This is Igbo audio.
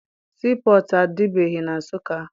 Sii pọtụ adịbeghị na Nsụka.